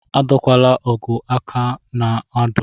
Adọkwala agụ aka na-odu!